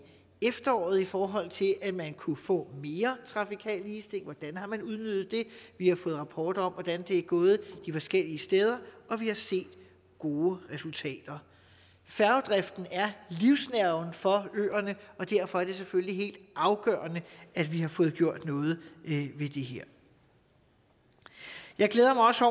efteråret i forhold til at man kunne få mere trafikal ligestilling hvordan har man udnyttet det vi har fået rapporter om hvordan det er gået de forskellige steder og vi har set gode resultater færgedriften er livsnerven for øerne og derfor er det selvfølgelig helt afgørende at vi har fået gjort noget ved det her jeg glæder mig også